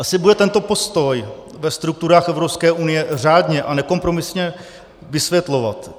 Asi bude tento postoj ve strukturách Evropské unie řádně a nekompromisně vysvětlovat.